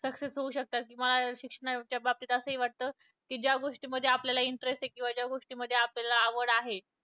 success होऊ शकतात. किंवा शिक्षणाच्या बाबतीत असेही वाटतं कि ज्या गोष्टींमध्ये आपल्याला interest किंवा ज्या गोष्टींमध्ये आपल्याला आवड आहे.